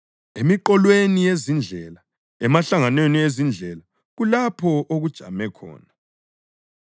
Emiqolweni yezindlela, emahlanganweni ezindlela kulapho okujame khona;